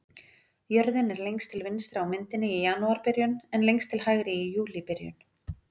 Jörðin er lengst til vinstri á myndinni í janúarbyrjun en lengst til hægri í júlíbyrjun.